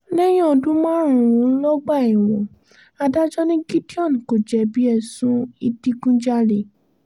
lẹ́yìn ọdún márùn-ún lọ́gbà ẹ̀wọ̀n adájọ́ ni gideon kò jẹ̀bi ẹ̀sùn ìdígunjalè